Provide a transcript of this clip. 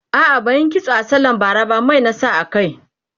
a'a ban Yi kitso sallan bara ba Mai na sa a kai